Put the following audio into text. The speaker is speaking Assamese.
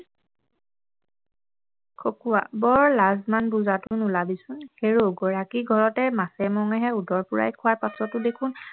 খকুৱা - বৰ লাজ মান বুজাটো নোলাবিচোন হেৰৌ গৰাকীৰ ঘৰতে মাছে মঙহে উদৰ পূৰাই খোৱাৰ পাছতো দেখোন